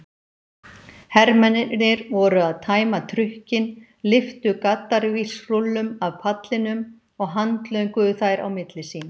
Hermennirnir voru að tæma trukkinn, lyftu gaddavírsrúllum af pallinum og handlönguðu þær á milli sín.